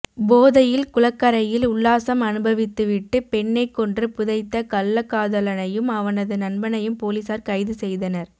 போதையில் குளக்கரையில் உல்லாசம் அனுபவித்துவிட்டு பெண்ணை கொன்று புதைத்த கள்ளக்காதலனையும் அவனது நண்பனையும் போலீசார் கைது செய்தனர்